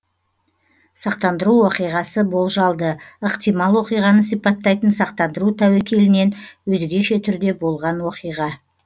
сақтандыру уақиғасы болжалды ықтимал оқиғаны сипаттайтын сақтандыру тәуекелінен өзгеше түрде болған оқиға